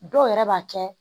Dɔw yɛrɛ b'a kɛ